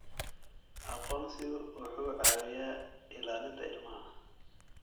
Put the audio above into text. Aqoonsigu wuxuu caawiyaa ilaalinta ilmaha.